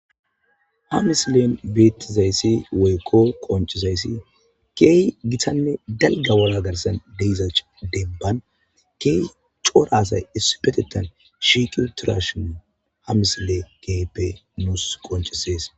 Ha misile beetizaysi woyiko qonccisizaysi keehi gittanne daalga worra gaarssan deeza demban keehi ccorra aasay issippettettan shiqqidi uttidashshe ha misile kehippe nuss qonccisses.